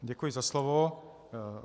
Děkuji za slovo.